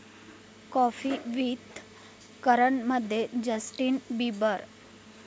coffee with करण'मध्ये Justin Bieber